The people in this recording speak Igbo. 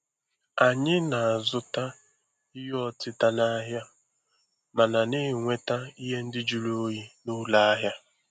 Anyị na-azụta ihe ọtịta n'ahịa, mana na-enweta ihe ndị jụrụ oyi n'ụlọ ahịa.